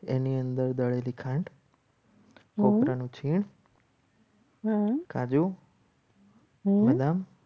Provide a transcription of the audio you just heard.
એની અંદર દળેલી ખાંડ ઓગળાનું છે. કાજુ બદામ